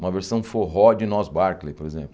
Uma versão forró de Nos Barkley, por exemplo.